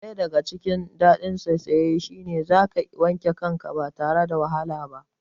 Daya daga cikin dadin saisaye shine zaka wanke kanka ba tare da ka wahala ba